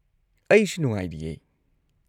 ꯑꯩꯁꯨ ꯅꯨꯡꯉꯥꯏꯔꯤꯌꯦ꯫